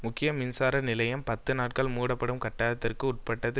முக்கிய மின்சார நிலையம் பத்து நாட்கள் மூடப்படும் கட்டாயத்திற்கு உட்பட்டது